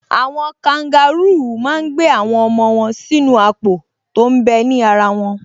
Àwọn kangarúù máa n gbé àwọn ọmọ wọn sínú àpò tó m bẹ ní ara wọn